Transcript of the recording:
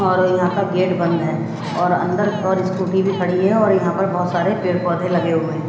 और यहां का गेट बंद है और अंदर और स्कूटी भी खड़ी है और यहां पर बहोत सारे पेड़ पौधे लगे हुए हैं।